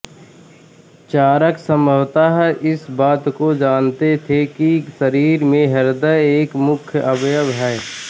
चरक संभवतः इस बात को जानते थे कि शरीर में हृदय एक मुख्य अवयव है